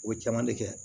O caman de kɛ